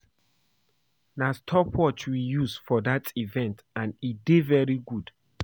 Na stop watch we use for dat event and e dey very good